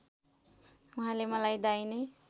उहाँले मलाई दाहिने